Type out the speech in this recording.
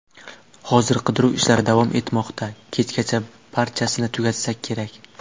Hozir qidiruv ishlari davom etmoqda, kechgacha barchasini tugatsak kerak.